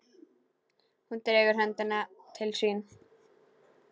Hún dregur höndina til sín.